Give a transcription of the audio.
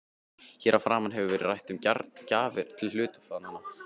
Hér að framan hefur verið rætt um gjafir til hluthafanna.